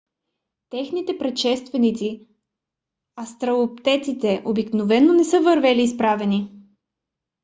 техните предшественици австралопитеците обикновено не са вървели изправени